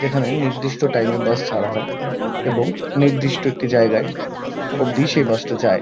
এখানে নির্দিষ্ট টাইম -এ বাস ছাড়া হয়। এবং নির্দিষ্ট একটি জায়গায় অবধি সেই বাস -টা যায়।